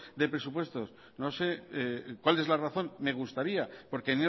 de presupuesto no sé cuál es la razón me gustaría porque